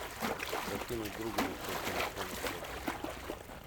закинуть другу на счет телефона сотку